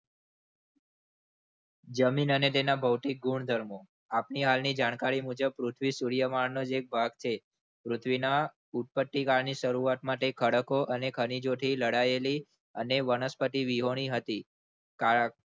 જમીન અને તેના ભૌતિક ગુણધર્મો આપણી હાલની જાણકારી મુજબ સૂર્યમાનનો જે ભાગ છે પૃથ્વીના ફૂટપટ્ટી કારના શરૂઆત માટે ખડકો અને ખનીજોથી લડાયેલી અને વનસ્પતિ વિહોણી હતી.